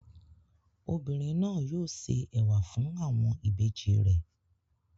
Obìnrin náà yóò se ẹ̀wà fún àwọn ìbejì rẹ̀.